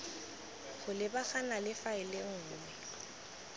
go lebagana le faele nngwe